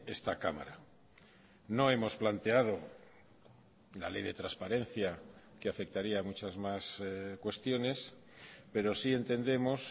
esta cámara no hemos planteado la ley de transparencia que afectaría a muchas más cuestiones pero sí entendemos